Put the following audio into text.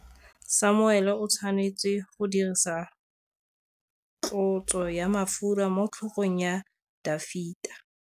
Samuele o tshwanetse go dirisa tlotsô ya mafura motlhôgong ya Dafita.